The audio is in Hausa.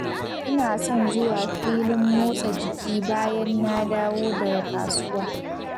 Ina son zuwa filin motsa jiki bayan na dawo daga kasuwa.